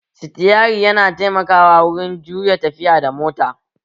Sitiyari yana taimakawa wurin juya da tafiya da mota